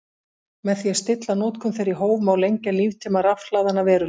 Með því að stilla notkun þeirra í hóf má lengja líftíma rafhlaðanna verulega.